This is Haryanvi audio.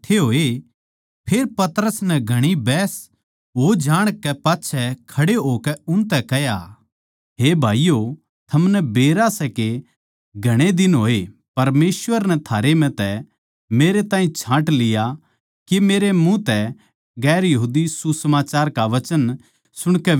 फेर पतरस नै घणी बहस हो जाणकै पाच्छै खड़े होकै उनतै कह्या हे भाईयो थमनै बेरा सै के घणे दिन होए परमेसवर नै थारै म्ह तै मेरै ताहीं छाँट लिया के मेरै मुँह तै दुसरी जात्तां आळे सुसमाचार का वचन सुणकै बिश्वास करै